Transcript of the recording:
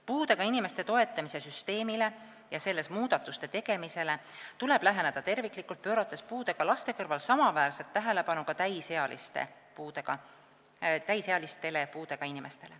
Puudega inimeste toetamise süsteemile ja selles muudatuste tegemisele tuleb läheneda terviklikult, pöörates puudega laste kõrval samaväärset tähelepanu ka täisealistele puudega inimestele.